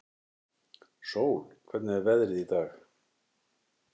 Sól, hvernig er veðrið í dag?